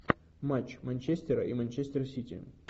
матч манчестера и манчестер сити